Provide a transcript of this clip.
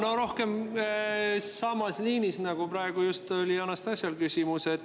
Jaa, küsimus on samas liinis, nagu just praegu oli Anastassial.